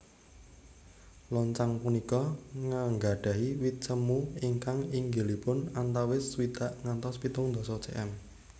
Loncang punika nggadhahi wit semu ingkang inggilipun antawis swidak ngantos pitung dasa cm